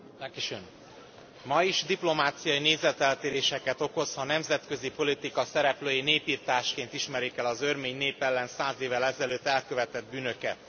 Elnök Úr, ma is diplomáciai nézeteltéréseket okoz, ha a nemzetközi politika szereplői népirtásként ismerik el az örmény nép ellen száz évvel ezelőtt elkövetett bűnöket.